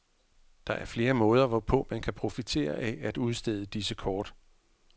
Der er flere måder, hvorpå man kan profitere af at udstede disse kort.